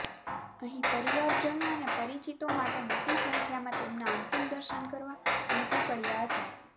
અહીં પરિવારજનો અને પરિચીતો માટે મોટી સંખ્યામાં તેમના અંતિમ દર્શન કરવા ઉમટી પડ્યાં હતા